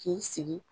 K'i sigi